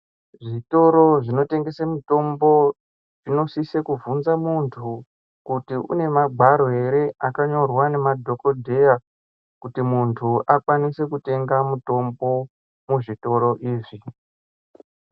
Zvitoro zvinotengese mitombo zvinosise kubvunza muntu kuti une magwaro ere akanyorwa nemadhokodheya, ekutenga mutombo muzvitoro izvi.